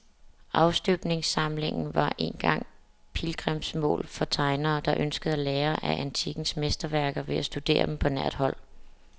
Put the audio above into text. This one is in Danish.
Afstøbningssamlingen var engang pilgrimsmål for tegnere, der ønskede at lære af antikkens mesterværker ved at studere dem på nært hold.